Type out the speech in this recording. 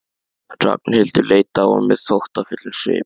Ragnhildur leit á hann með þóttafullum svip.